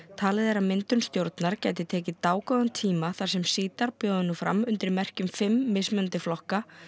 talið er að myndun stjórnar gæti tekið dágóðan tíma þar sem bjóða nú fram undir merkjum fimm mismunandi flokka